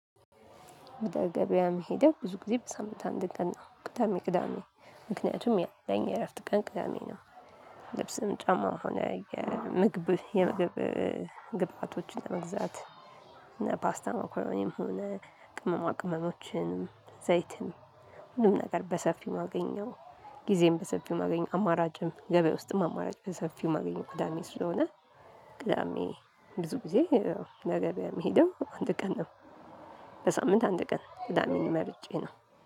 ወደ ገበያ መሄደው ብዙ ጊዜ በሳምንት አንድ ቀን ነው ቅዳሜ ቅዳሜ ምክንያቱም ያለኝ የእረፍት ቀን ቅዳሜ ነው። ልብስም ጫማ ሆነ የምግብ የምግብ ግብአቶችን ለመግዛት እነ ፓስታ መኮረኒ ሆነ ቅመማ ቅመሞችን ዘይትን ሁሉም ነገር በሰፊው ማገኘው ጊዜም በሰፊው ማገኘው አማራጭም ገበያ ውስጥም አማራጭ በሰፊው የማገኘው ቅዳሜ ስለሆነ። ቅዳሜ ብዙ ጊዜ ወደ ገበያ የሚሄደው አንድ ቀን ነው። በሳምንት አንድ ቀን ቅዳሜን መርጬ ነው